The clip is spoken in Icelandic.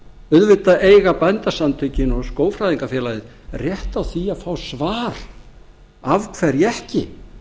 auðvitað eiga bændasamtökin og skógfræðingafélagið rétt á því að fá svar af hverju ekki